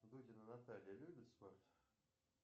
дудина наталья любит спорт